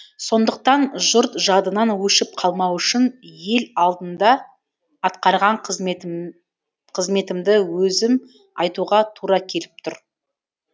сондықтан жұрт жадынан өшіп қалмау үшін ел алдында атқарған қызметімді өзім айтуға тура келіп тұр